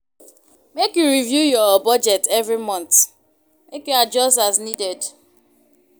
Make you review your budget every month, make you adjust as needed.